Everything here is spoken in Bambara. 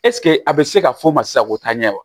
a bɛ se ka fɔ o ma sisan ko taa ɲɛ wa